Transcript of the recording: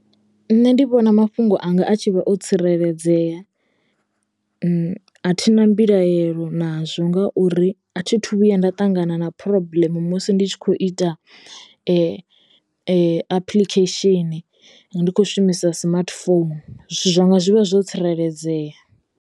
Nṋe ndi vhona mafhungo anga a tshi vha o tsireledzea a thi na mbilaelo nazwo ngauri a thi thu vhuya nda ṱangana na phurobuḽemu musi ndi tshi kho ita apiḽikhesheni ndi kho shumisa smartphone zwithu zwanga zwi vha zwo tsireledzea.